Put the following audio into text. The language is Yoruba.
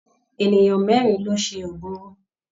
Ènìyàn mẹ́rin ló ṣe oògùn owó.